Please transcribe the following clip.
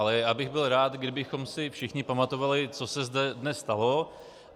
Ale byl bych rád, kdybychom si všichni pamatovali, co se zde dnes stalo.